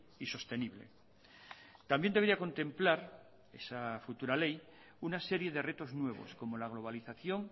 y sostenible también debería contemplar esa futura ley una serie de retos nuevos como la globalización